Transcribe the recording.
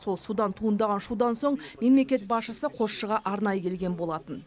сол судан туындаған шудан соң мемлекет басшысы қосшыға арнайы келген болатын